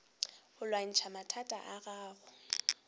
go lwantšha mathata a gago